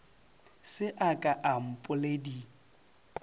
se a ka a mpoledi